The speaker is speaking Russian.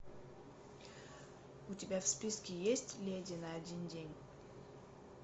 у тебя в списке есть леди на один день